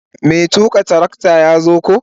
Mai tuka trakta ya zo ko.